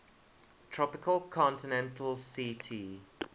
tropical continental ct